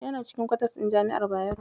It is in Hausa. Yana cikin kwatas ɗin jami'ar Bayero.